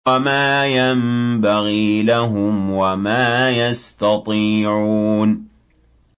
وَمَا يَنبَغِي لَهُمْ وَمَا يَسْتَطِيعُونَ